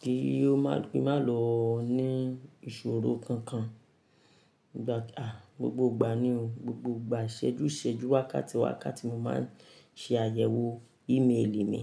kí ó má, kí n má lọ ní ìṣòro kankan. Ìgbàta, gbogbo ìgbà ni o, gbogbo ìgbà ìṣẹ́jú ìṣẹ́jú, wákàtí wákàtí mo máa ń ṣe àyẹ̀wò ìmeèlì mi.